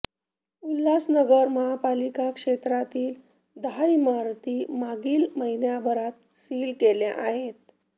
उल्हासनगर महापालिका क्षेत्रातील दहा इमारती मागील महिनाभरात सील केल्या आहेत